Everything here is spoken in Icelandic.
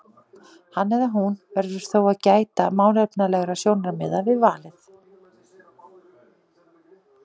Hann eða hún verður þó að gæta málefnalegra sjónarmiða við valið.